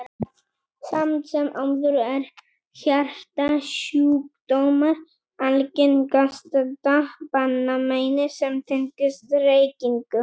Samt sem áður eru hjartasjúkdómar algengasta banameinið sem tengist reykingum.